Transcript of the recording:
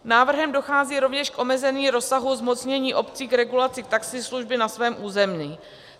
Návrhem dochází rovněž k omezení rozsahu zmocnění obcí k regulaci taxislužby na svém území.